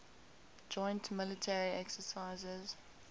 joint military exercises